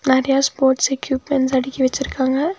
நெறையா sports equipments அடுக்கி வச்சிருக்காங்க.